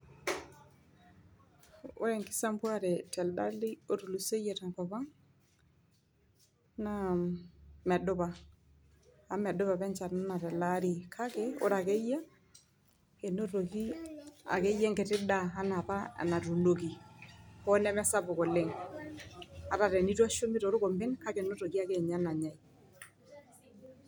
Ore enkisampuare telde Ari otulusoyie tenkop ang, naa medupa amu medupa apa echan anaa tele Ari kake ore akeyie enotoki akeyie enkiti daa anaa apa enatuunoki hoo neme sapuk oleng ata tenneitu eshumi toorkompen kake enotoki akeninye enanyae.